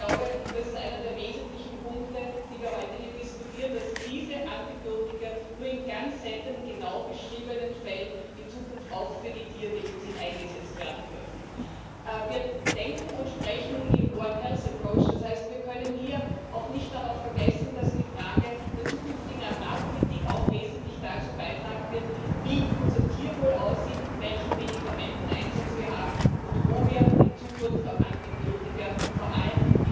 Ich glaube, das ist einer der wesentlichen Punkte, die wir heute hier diskutieren, dass diese Antibiotika nur in ganz seltenen genau beschriebenen Fällen in Zukunft auch für die Tiermedizin eingesetzt werden dürfen. Wir denken und sprechen im One Health approach das heißt, wir können hier auch nicht vergessen, dass die Frage der zukünftigen Agrarpolitik auch wesentlich dazu beitragen wird, wie unser Tierwohl aussieht, welchen Medikamenteneinsatz wir haben und wo wir in Zukunft auf Antibiotika, vor allem